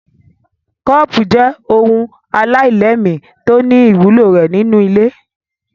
Kọ́ọ́pù jẹ́ ohun aláìlẹ́ẹ̀mí tó ní ìwúlò rẹ̀ nínú ilé.